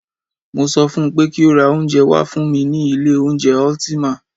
Mo sọ fún pé kí o ra oúnjẹ wá fún mí ní ilé oúnjẹ Ultima!